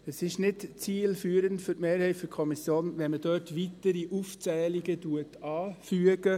Es ist für die Mehrheit der Kommission nicht zielführend, wenn man dort weitere Aufzählungen anfügt.